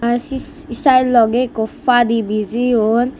ahh sis salogey ekko padi bijeyon.